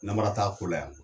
Namara t'a ko la yan